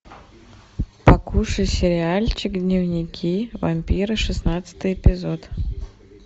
покушай сериальчик дневники вампира шестнадцатый эпизод